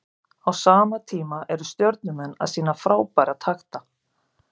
Á sama tíma eru Stjörnumenn að sýna frábæra takta.